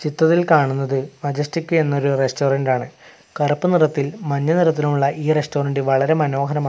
ചിത്രത്തിൽ കാണുന്നത് മജെസ്റ്റിക് എന്നൊരു റസ്റ്റോറന്റ് ആണ് കറുപ്പ് നിറത്തിൽ മഞ്ഞ നിറത്തിലുമുള്ള ഈ റസ്റ്റോറന്റ് വളരെ മനോഹരമാ--